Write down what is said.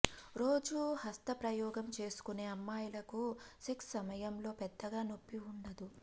రోజూ హస్తప్రయోగం చేసుకునే అమ్మాయిలకు సెక్స్ సమయంలో పెద్దగా నొప్పి ఉండదు